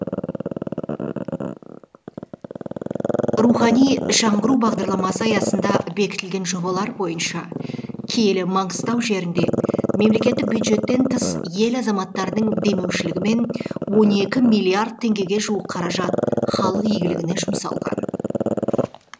рухани жаңғыру бағдарламасы аясында бекітілген жобалар бойынша киелі маңғыстау жерінде мемлекеттік бюджеттен тыс ел азаматтарының демеушілігімен он екі миллиард теңгеге жуық қаражат халық игілігіне жұмсалған